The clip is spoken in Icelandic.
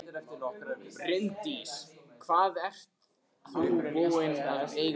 Bryndís: Hvað ert þú búinn að eiga síma lengi?